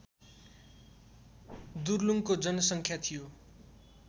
दुर्लुङको जनसङ्ख्या थियो